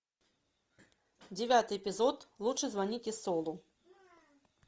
девятый эпизод лучше звоните солу